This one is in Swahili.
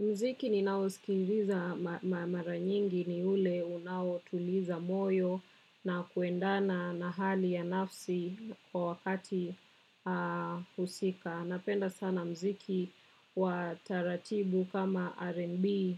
Mziki ni nao sikiliza mara nyingi ni ule unao tuliza moyo na kuendana na hali ya nafsi kwa wakati husika. Napenda sana mziki wa taratibu kama R&B,